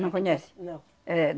Não conhece? Não. Éh,